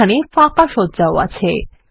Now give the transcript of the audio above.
এখানে ফাঁকা সজ্জাও আছে